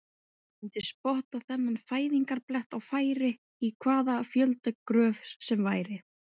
Ég myndi spotta þennan fæðingarblett á færi, í hvaða fjöldagröf sem væri.